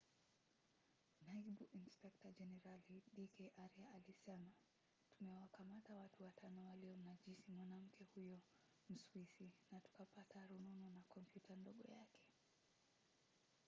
naibu inspekta jenerali d k arya alisema tumewakamata watu watano waliomnajisi mwanamke huyo mswisi na tukapata rununu na kompyuta ndogo yake.